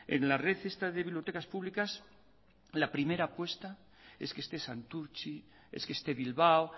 en la red esta de bibliotecas públicas la primera apuesta es que esté santurtzi es que esté bilbao